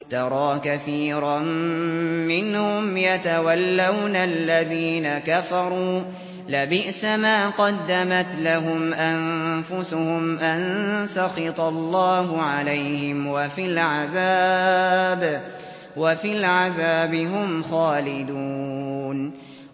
تَرَىٰ كَثِيرًا مِّنْهُمْ يَتَوَلَّوْنَ الَّذِينَ كَفَرُوا ۚ لَبِئْسَ مَا قَدَّمَتْ لَهُمْ أَنفُسُهُمْ أَن سَخِطَ اللَّهُ عَلَيْهِمْ وَفِي الْعَذَابِ هُمْ خَالِدُونَ